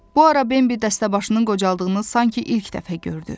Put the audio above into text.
Bu ara Bambi dəstəbaşının qocaldığını sanki ilk dəfə gördü.